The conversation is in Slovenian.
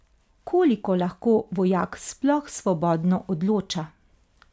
Koliko lahko vojak sploh svobodno odloča?